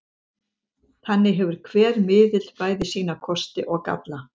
Þannig hefur hver miðill bæði sína kosti og galla.